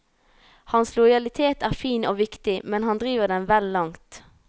Hans lojalitet er fin og viktig, men han driver den vel langt.